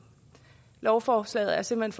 lovforslaget er simpelt